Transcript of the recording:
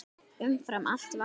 Umfram allt varstu sterk.